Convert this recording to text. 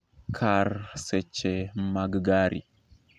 kar seche mag gari